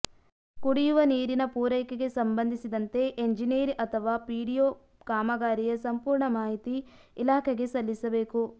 ಕುಡಿವ ನೀರಿನ ಪೂರೈಕೆಗೆ ಸಂಬಂಧಿಸಿದಂತೆ ಎಂಜಿನಿಯರ್ ಅಥವಾ ಪಿಡಿಒ ಕಾಮಗಾರಿಯ ಸಂಪೂರ್ಣ ಮಾಹಿತಿ ಇಲಾಖೆಗೆ ಸಲ್ಲಿಸಬೇಕು